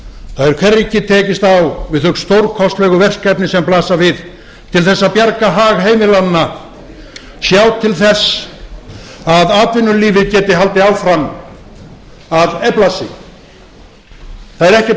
það er hvergi tekist á við þau stórkostlegu verkefni sem blasa við til þess að bjarga hag heimilanna sjá til þess að atvinnulífið geti haldið áfram að efla sig það er ekkert gert